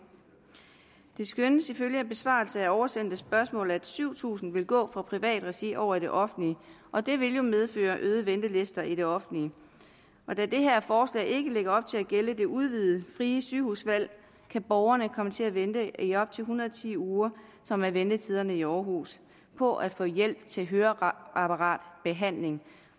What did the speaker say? det skønnes ifølge besvarelse af oversendte spørgsmål at syv tusind vil gå fra privat regi over i det offentlige og det vil jo medføre øgede ventelister i det offentlige da det her forslag ikke lægger op til at gælde det udvidede frie sygehusvalg kan borgerne komme til at vente i op til en hundrede og ti uger som er ventetiderne i aarhus på at få hjælp til høreapparatbehandling